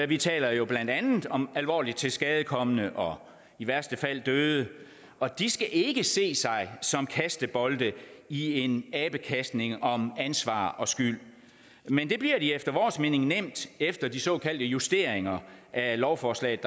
vi taler jo blandt andet om alvorligt tilskadekomne og i værste fald døde de skal ikke ses som kastebolde i en abekastning om ansvar og skyld men det bliver de efter vores mening nemt efter de såkaldte justeringer af lovforslaget